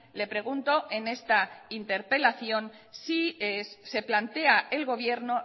le pregunto en esta interpelación si se plantea el gobierno